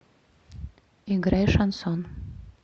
играй шансон